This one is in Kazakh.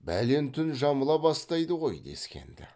бәлен түн жамыла бастайды ғой дескен ді